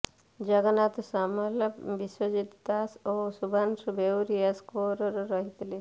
ଜଗନ୍ନାଥ ସାମଲ ବିଶ୍ୱଜିତ ଦାସ ଓ ଶୁଭ୍ରାଂଶୁ ବେଉରିଆ ସ୍କୋରର୍ ରହିଥିଲେ